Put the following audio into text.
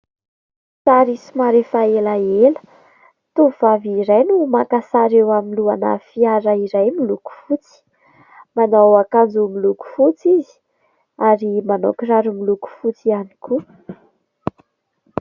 Sary somary efa elaela, tovovavy iray no maka sary eo anoloan'ny fiara iray miloko fotsy manao akanjo miloko fotsy izy ary manao kiraro miloko fotsy ihany koa.